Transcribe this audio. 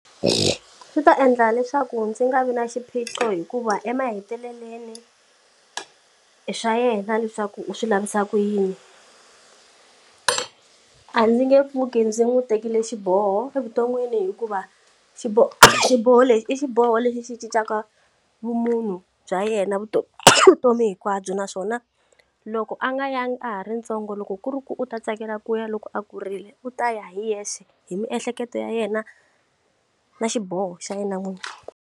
Swi ta endla leswaku ndzi nga vi na xiphiqo hikuva emahetelelweni swa yena leswaku u swi lavisa ku yini a ndzi nge pfuki ndzi n'wi tekele xiboho evuton'wini hikuva xiboho xiboho lexi i xiboho lexi xi cincaka vumunhu bya yena vutomi vutomi hinkwabyo naswona loko a nga yangi a ha ri ntsongo loko ku ri ku u ta tsakela ku ya loko a kurile u ta ya hi yexe hi miehleketo ya yena na xiboho xa yena munhu.